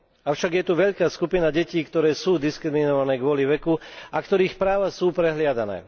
Avšak je tu veľká skupina detí, ktoré sú diskriminované kvôli veku a ktorých práva sú prehliadané.